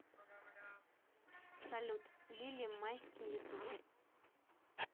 салют лили майски ютуб